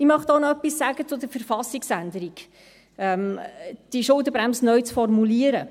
Ich möchte auch noch etwas zur KV-Änderung sagen, diese Schuldenbremse neu zu formulieren.